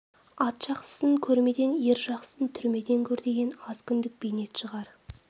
ат жақсысын кермеден ер жақсысын түрмеден көр деген аз күндік бейнет шығар